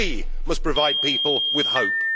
We must provide people with hope.